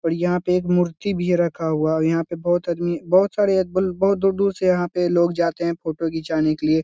और यहाँ पे एक मूर्ति भी रखा हुआ है और यहाँ पे बहुत आदमी बहुत सारे आद म बहुत दूर-दूर से यहाँ पे लोग जाते हैं फ़ोटो घिंचाने के लिए।